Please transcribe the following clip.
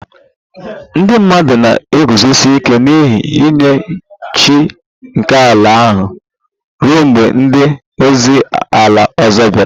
Ndị mmadụ na-eguzosi ike n'ihe nye chi nke ala ha ruo mgbe ndị ozi ala ọzọ bịara